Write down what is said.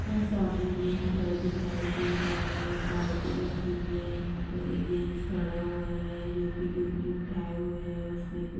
यहाँ सामने मे एक घर दिखाई दे रहा है एक बाल्टी रखी हुई है यहाँ पर एक जेन्ट्स खड़ा हुआ है जो कि टूपनि उठाये हुए हैं। उसमे कु--